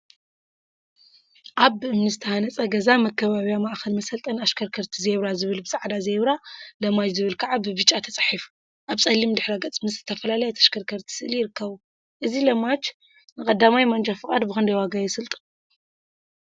አብ ብእምኒ ዝተሃፀ ገዛ መከባቢያ ማእከል መሰልጠኒ አሽከርከርቲ ዜብራ ዝብል ብፃዕዳ፣ ዜብራ ለማጅ ዝብል ከዓ ብብጫ ተፃሒፉ አብ ፀሊም ድሕረ ገፅ ምስ ዝተፈላለያ ተሽከርከርቲ ስእሊ ይርከቡ፡፡ እዚ ለማጅ ን1ይ ማንጃ ፍቃድ ብክንደይ ዋጋ የሰልጥን?